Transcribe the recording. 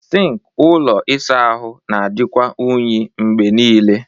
Sink ụlọ ịsa ahụ na-adịkwa unyi mgbe niile